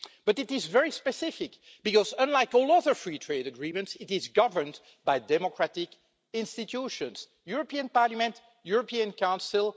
But it is very specific, because unlike all other free trade agreements, it is governed by democratic institutions the European Parliament, the European Council.